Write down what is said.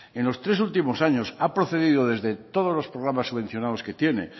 en los últimos tres años ha procedido desde todos los programas subvencionados que tiene